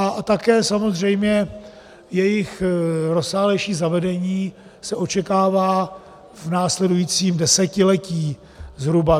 A také samozřejmě jejich rozsáhlejší zavedení se očekává v následujícím desetiletí, zhruba.